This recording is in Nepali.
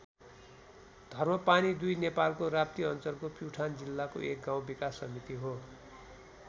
धर्मपानी २ नेपालको राप्ती अञ्चलको प्युठान जिल्लाको एक गाउँ विकास समिति हो।